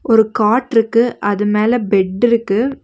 ஒரு காட்ருக்கு அது மேல பெட்ருக்கு .